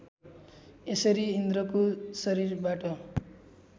यसरी इन्द्रको शरीरबाट